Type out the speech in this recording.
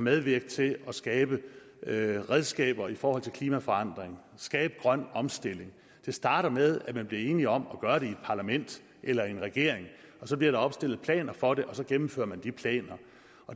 medvirke til at skabe redskaber i forhold til klimaforandring skabe grøn omstilling det starter med at man bliver enige om at gøre det i parlament eller i en regering og så bliver der opstillet planer for det og så gennemfører man de planer